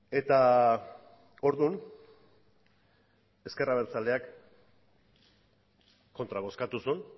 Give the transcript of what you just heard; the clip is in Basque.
eta orduan ezker abertzaleak kontra bozkatu zuen